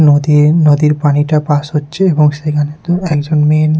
নদীর নদীর পানিটা পাস হচ্ছে এবং সেখানে দু একজন মেন--